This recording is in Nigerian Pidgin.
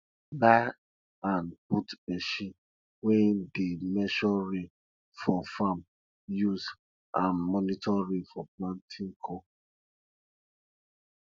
buy and put machine wey dey measure rain for farm use am monitor rain for planting corn